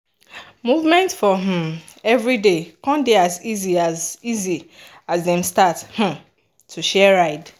movement for um everyday com dey easy as easy as dem start um to share ride.